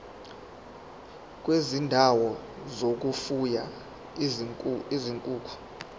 kwezindawo zokufuya izinkukhu